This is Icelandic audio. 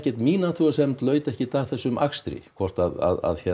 mín athugasemd laut ekkert að þessum akstri hvort að